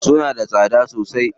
Suna da tsada sosai?